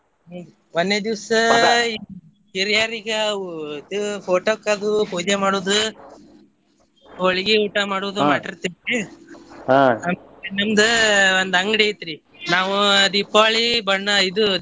ಹ್ಮ್‌ ಒನ್ನೇ ದಿವ್ಸ ಹಿರಿಯರಿಗೆ ಅವು photo ಕ್ ಅದು ಪೂಜೆ ಮಾಡೋದು ಹೊಳ್ಗಿ ಊಟ ಮಾಡೋದ ಮಾಡಿರ್ತೇವೆ ನಿಮ್ದ್ ಒಂದ್ ಅಂಗ್ಡಿ ಐತ್ರಿ ನಾವು ದೀಪಾವಳಿ ಬಣ್ಣ ಇದು.